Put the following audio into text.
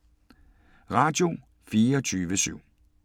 Radio24syv